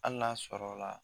Hali n'a sɔrɔ la